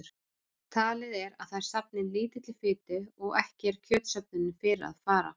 Talið er að þær safni lítilli fitu og ekki er kjötsöfnun fyrir að fara.